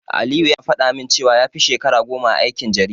Aliyu yana faɗa min cewa ya fi shekara goma a aikin jarida.